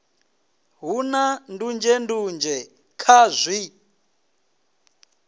hu na ndunzhendunzhe kha zwi